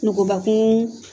Nukubakun